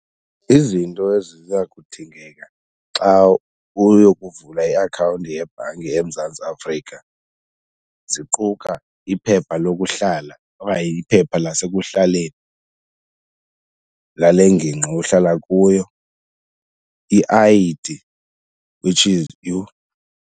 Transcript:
Izinto eziza kudingeka xa uyokuvula iakhawunti yebhanki eMzantsi Afrika ziquka iphepha lokuhlala okanye iphepha lasekuhlaleni lale ngingqi uhlala kuyo, i-I_D which is, yho.